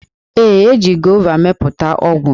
Ee, e ji gova mepụta ọgwụ.